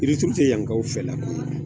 Yirituru tɛ yankaw fɛ la ko ye